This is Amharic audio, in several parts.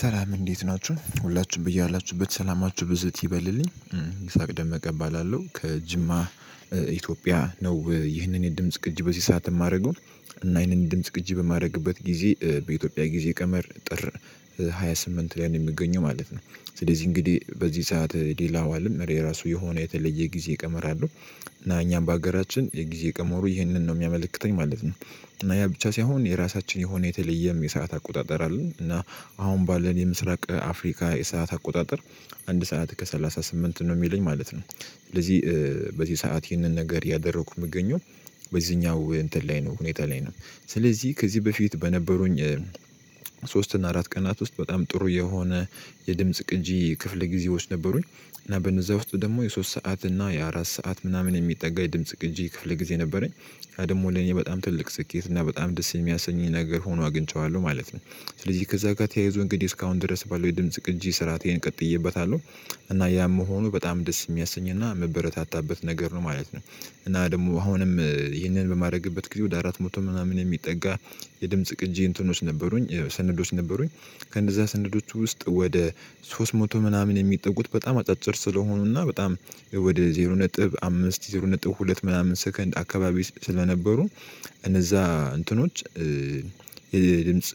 ሰላም እንዴት ናችሁ ሁላችሁም በያላችሁበት ሰላማችሁ ብዝት ይበልልኝ ይስሐቅ ደመቀ እባላለው ከጅማ። ኢትዮጵያ ነው ይህንን የድምጽ ቅጅ በዚህ ሰዓት ማረገው። እና ይህንን ድምጽ ቅጅ በማረግበት ጊዜ በኢትዮጵያ ጊዜ ቀመር ጥር ሃያ ስምንት ላይ ነው የምገኘው ማለት ነው። ስለዚህ እንግዲህ በዚህ ሰዓት ሌላ አለም እሬ ራሱ የሆነ የተለየ ጊዜ ቀመር አለው። እና እኛም በሀገራችን የጊዜ ቀመሩ ይህንን ነው ሚያመለክተኝ ማለት ነው። እና ያ ብቻ ሳይሆን የራሳችን የሆነ የተለየም የሰዓት አቆጣጠር አለን እና አሁን ባለን የምስራቅ አፍሪካ የሰዓት አቆጣጠር። አንድ ሰዓት ከሰላሳ ስምንት ነው ሚለኝ ማለት ነው። ስለዚህ በዚህ ሰዓት ይህንን ነገር ያደረኩ ምገኘው በዚህኛው እንትን ላይ ነው ሁኔታ ላይ ነው። ስለዚህ ከዚህ በፊት በነበሩኝ ሶስት እና አራት ቀናት ውስጥ በጣም ጥሩ የሆነ የድምጽ ቅጂ ክፍለጊዜዎች ነበሩኝ። እና በነዛ ውስጥ ደግሞ የሶስት ሰዓት እና የአራት ሰዓት ምናምን የሚጠጋ ድምጽ ቅጂ ከፍለ ጊዜ ነበረኝ። ያ ደግሞ ለእኔ በጣም ትልቅ ስኬት እና በጣም ደስ የሚያሰኝ ነገር ሆኖ አግኝቼዋለሁ ማለት ነው። ስለዚህ ከዛ ጋር ተያይዞ እንግዲህ እስካሁን ድረስ ባለው የድምጽ ቅጂ ስርዓቴን ቀጥዬበታለሁ። እና ያም መሆኑ በጣም ደስ ሚያሰኝና ምበረታታበት ነገር ነው ማለት ነው። እና ደግሞ አሁንም ይህንን በማረግበት ጊዜ ወደ አራት መቶ ምናምን የሚጠጋ የድምጽ ቅጂ እንትኖች ነበሩኝ ስነዶች ነበሩኝ። ከነዛ ስነዶች ውስጥ ወደ ሶስት መቶ ምናምን የሚጠጉት በጣም አጫጭር ስለሆኑ እና በጣም ወደ ዜሮ ነጥብ አምስት ዜሮ ነጥብ ሁለት ምናምን ሰከንድ አካባቢ ስለነበሩ። እነዛ እንትኖች የድምጽ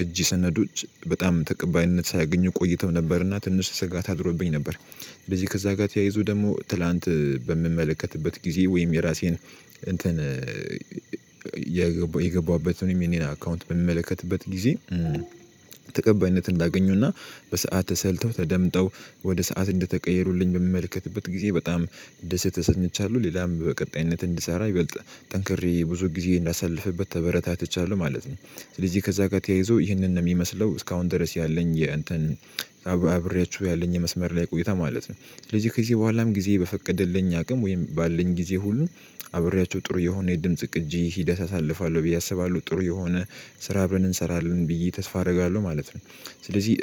ቅጂ ሰነዶች በጣም ተቀባይነት ሳያገኙ ቆይተው ነበርና ትንሽ ስጋት አድሮብኝ ነበር። ስለዚህ ከዛ ጋር ተያይዞ ደግሞ ትላንት በምመለከትበት ጊዜ ወይም የራሴን እንትን የገባሁበትንም ኢሜል አካውንት በምመለከትበት ጊዜ ተቀባይነትን እንዳገኘውና በሰአት ተሰልተው ተደምጠው ወደ ሰዓት እንደተቀየሩልኝ በምመልከትበት ጊዜ በጣም ደስ ተሰኝቻለሁ ሌላም በቀጣይነት እንድሰራ ይበልጥ ጠንክሬ ብዙ ጊዜ እንዳሳልፍበት ተበረታትቻለሁ ማለት ነው። ስለዚህ ከዛ ጋር ተያይዞ ይህንን ነው የሚመስለው እስካሁን ድረስ ያለኝ የእንትን አብሬያችሁ ያለኝ የመስመር ላይ ቆይታ ማለት ነው ስለዚህ ከዚህ በኋላም ጊዜ በፈቀደልኝ አቅም ወይም ባለን ጊዜ ሁሉ አብሬያቸው ጥሩ የሆነ የድምጽ ቅጂ ሂደት አሳልፋለሁ ብዬ አስባለሁ ጥሩ የሆነ ስራ አብረን እንሰራለን ብዬ ተስፋ አደርጋለሁ ማለት ነው። ስለዚህ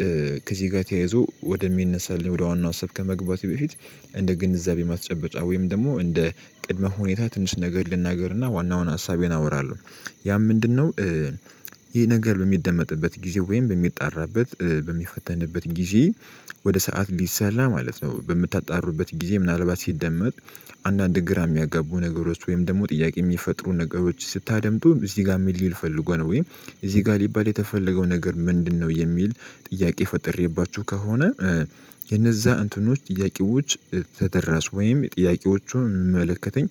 ከዚህ ጋ ተያይዞ ወደሚነሳልኝ ወደ ዋናው ሀሳብ ከመግባቴ በፊት እንደ ግንዛቤ ማስጨበጫ ወይም ደግሞ እንደ ቅድመ ሁኔታ ትንሽ ነገር ልናገር እና ዋናውን ሀሳቤን አወራለሁ። ያም ምንድነው? ይሄ ነገር በሚደመጥበት ጊዜ ወይም በሚጣራበት በሚፈተንበት ጊዜ ወደ ሰዓት ሊሰላ ማለት ነው በምታጣሩበት ጊዜ ምናልባት ሲደመጥ። አንዳንድ ግራ ሚያጋቡ ነገሮች ወይም ደግሞ ጥያቄ ሚፈጥሩ ነገሮች ስታደምጡም እዚህ ጋ ምን ሊል ፈልጎ ነው ወይም እዚህ ጋር ሊባል የተፈለገው ነገር ምንድነው የሚል? ጥያቄ ፈጥሬባችሁ ከሆነ። የነዛ እንትኖች ጥያቄዎች ተደራሽ ወይም ጥያቄዎቹን ሚመለከተኝ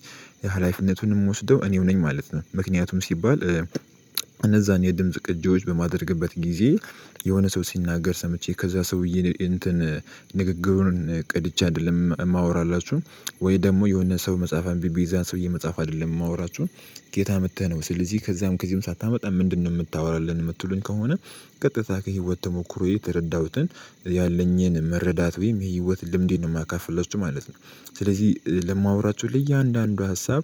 ሀላፊነቱንም ምወስደው እኔው ነኝ ማለት ነው። ምክንያቱም ሲባል እነዛን የድምጽ ቅጂዎች በማደርግበት ጊዜ የሆነ ሰው ሲናገር ሰምቼ ከዛ ሰውዬ እንትን ንግግሩን ቀድቼ አይደለም ማወራላችሁ ወይ ደግሞ የሆነ ሰው መጽሐፍ አንቤ የዛን ሰውዬ መጽሐፍ አይደለም የማወራችሁን ከየት አምተህ ነው ስለዚህ ከዛም ከዚህም ሳታመጣ ምንድነው ምታወራልን ምትሉን ከሆነ ቀጥታ ከህይወት ተሞክሮዬ ተረዳሁትን ያለኝን መረዳት ወይም የህይወት ልምዴን ነው ማካፍላችሁ ማለት ነው። ስለዚህ ለማውራችሁ ለእያንዳንዱ ሀሳብ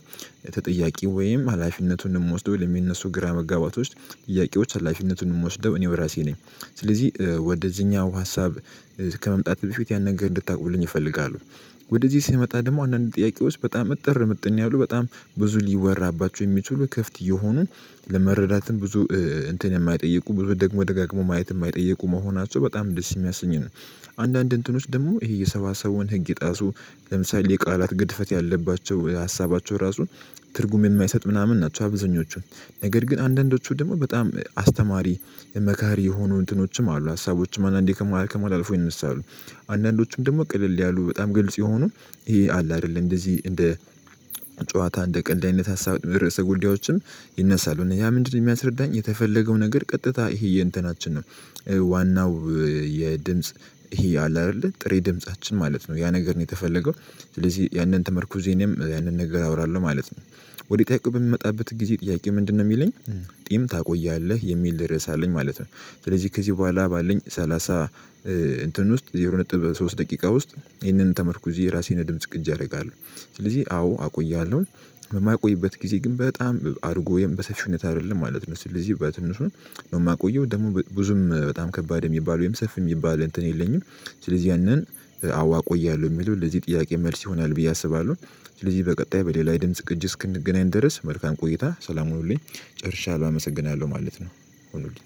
ተጠያቂ ወይም ሀላፊነቱን ምወስደው ለሚነሱ ግራ መጋባቶች ጥያቄዎች ሀላፊነቱን ምወስደው እኔው ራሴ ነኝ። ስለዚህ ወደዚህኛው ሀሳብ ከመምጣት በፊት ያን ነገር እንድታውቁልኝ እፈልጋለሁ። ወደዚህ ሲመጣ ደግሞ አንዳንድ ጥያቄዎች በጣም እጥር ምጥን ያሉ በጣም ብዙ ሊወራባቸው የሚችሉ ክፍት የሆኑን ለመረዳትም ብዙ እንትን የማይጠይቁ ደግሞ ደጋግሞ ማየት ማይጠይቁ መሆናቸው በጣም ደስ ሚያሰኝ ነው። አንዳንድ እንትኖች ደግሞ ይሄ የሰባሰቡውን ህግ የጣሱ ለምሳሌ የቃላት ግድፈት ያለባቸው ሀሳባቸው ራሱ ትርጉም የማይሰጥ ምናምን ናቸው። አብዛኞቹ ነገር ግን አንዳንዶቹ ደግሞ በጣም አስተማሪ መካሪ የሆኑ እንትኖችም አሉ ሀሳቦችም አንዳንዴ ከማሀል ከማሀል አልፎ ይነሳሉ። አንዳንዶቹም ደግሞ ቅልል ያሉ በጣም ግልጽ የሆኑ ይሄ አለ አይደል? እንደዚህ እንደ ጨዋታ እንደ ቀልድ አይነት ሀሳብ ርዕሰ ጉዳዮችም ይነሳሉ እነ ያ ምንድን ነው ሚያስረዳኝ የተፈለገው ነገር ቀጥታ ይሄ የእንትናችንን ዋናው የድምጽ ይሄ አለ አይደለ ጥሬ ድምፃችን ማለት ነው ያ ነገር ነው የተፈለገው። ስለዚህ ያንን ተመርኩዤ እኔም ያንን ነገር አወራለሁ ማለት ነው። ወደ ጥያቄው በሚመጣበት ጊዜ ጥያቄው ምንድን ነው ሚለኝ? ቂም ታቆያለህ የሚል ርዕስ አለኝ ማለት ነው። ስለዚህ ከዚህ በኋላ ባለኝ ሰላሳ እንትን ውስጥ ዜሮ ነጥብ ሶስት ደቂቃ ውስጥ ይህንን ተመርኩዤ የራሴን ድምጽ ቅጅ አረጋለሁ። ስለዚህ አዎ አቆይሃለሁ። የማይቆይበት ጊዜ ግን በጣም አድርጎ ወይም በሰፊው ሁኔታ አይደለም ማለት ነው። ስለዚህ በትንሹ ነው ማቆየው ደግሞ ብዙም በጣም ከባድ ሚባለው ወይም ሰፊ ሚባል እንትን የለኝም። ስለዚህ ያንን አዎ አቆያለሁ ሚለው ለዚህ ጥያቄ መልስ ይሆናል ብዬ አስባለሁ። ስለዚህ በቀጣይ በሌላ የድምጽ ቅጅ እስክንገናኝ ድረስ መልካም ቆይታ ሰላም ሆኖልኝ ጨርሻላሁ አመሰግናለሁ ማለት ነው። ሆኑልኝ